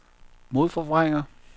modforvrænger